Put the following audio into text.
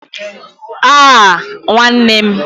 Awwww Nwanne m????